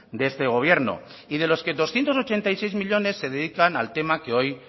de este gobierno y de los que doscientos ochenta y seis millónes se dedican al tema que hoy